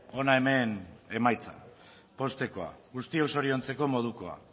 hona hemen emaitza poztekoa guztiok zoriontzeko modukoa